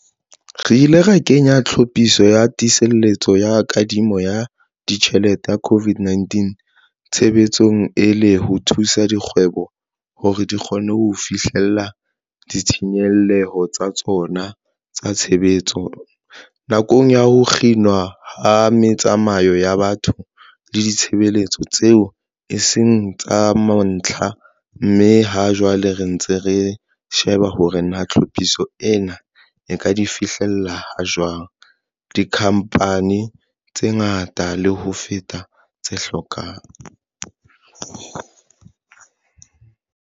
Re ile ra kenya Tlhophiso ya Tiiseletso ya Kadimo ya Ditjhelete ya COVID-19 tshebetsong, e le ho thusa dikgwebo hore di kgone ho fihlella ditshenyehelo tsa tsona tsa tshebetso nakong ya ho kginwa ha metsamao ya batho le ditshebeletso tseo e seng tsa mantlha, mme ha jwale re ntse re sheba hore na tlhophiso ena e ka di fihlella ha jwang dikhamphane tse ngata le ho feta tse hlokang.